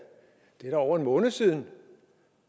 han over en måned siden